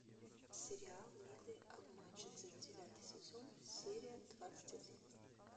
сериал милые обманщицы девятый сезон серия двадцать один